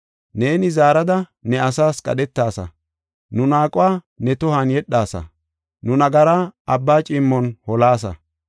Neeni zaarada ne asaas qadhetasa; nu naaquwa ne tohuwan yedhasa; nu nagara abba ciimmon holaasa.